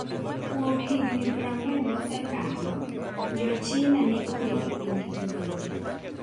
Kuom higini 40 mosekalo, Jo-China ne onge gi pinygi giwegi.